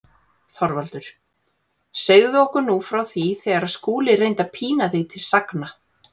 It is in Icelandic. ÞORVALDUR: Segðu okkur nú frá því þegar Skúli reyndi að pína þig til sagna.